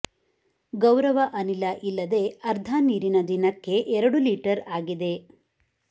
ಗೌರವ ಅನಿಲ ಇಲ್ಲದೆ ಅರ್ಧ ನೀರಿನ ದಿನಕ್ಕೆ ಎರಡು ಲೀಟರ್ ಆಗಿದೆ